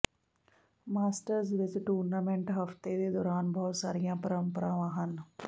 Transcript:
masters ਵਿਚ tournament ਹਫਤੇ ਦੇ ਦੌਰਾਨ ਬਹੁਤ ਸਾਰੀਆਂ ਪਰੰਪਰਾਵਾਂ ਹਨ